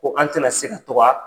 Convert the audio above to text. Ko an tɛ na se ka to ka